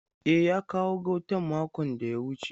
E, ya kawo gautan makon da ya wuce.